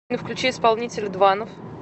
афина включи исполнителя дванов